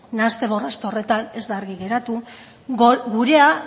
nahaste borraste horretan ez da argi geratu gure